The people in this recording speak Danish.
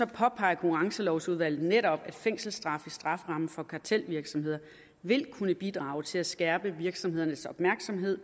påpeger konkurrencelovudvalget netop at fængselsstraf i strafferammen for kartelvirksomheder vil kunne bidrage til at skærpe virksomhedernes opmærksomhed